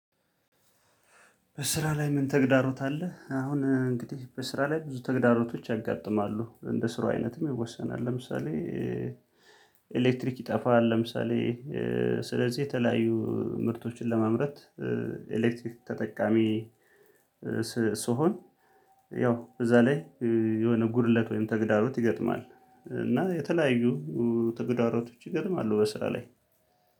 በስራ ላይ ምን ተግዳሮት አለ? አሁን እንግዲህ በስራ ላይ ብዙ ተግዳሮቶች ያጋጥማሉ እንደ ስራው አይነትም ይወሰናል። ለምሳሌ ኤሌክትሪክ ይጠፋል። ለምሳሌ ስለዚህ የተለያዩ ምርቶችን ለማምረት ኤሌክትሪክ ተጠቃሚ። ስሆን ያው እዛ ላይ የሆነ ጉድለት ወይም ተግዳሮት ይገጥማል። እና የተለያዩ ተግዳሮቶች ይገጥማሉ። በስራ ላይ